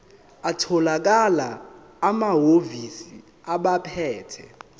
atholakala emahhovisi abaphethe